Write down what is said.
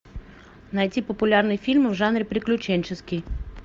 найти популярные фильмы в жанре приключенческий